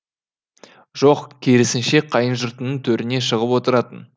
жоқ керісінше қайынжұртының төріне шығып отыратын